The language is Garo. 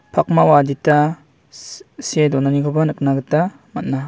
pakmao adita shh see donanikoba nikna gita man·a.